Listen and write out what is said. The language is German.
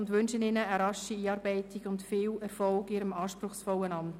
Ich wünsche Ihnen eine rasche Einarbeitung und viel Erfolg in Ihrem anspruchsvollen Amt.